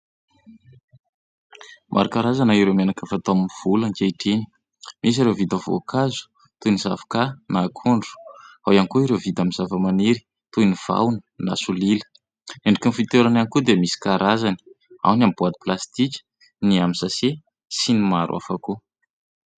Maro karazana ireo menaka fatao amin'ny volo ankehitriny misy ireo vita voankazo toy ny zavoka na akondro, ao ihany koa ireo vita amin'ny zava-maniry toy ny vahona na solila ; endriky ny fitoerany ihany koa dia misy karazany ao ny amin'ny boaty plastika, ny amin'ny "sachet" sy ny maro hafa koa.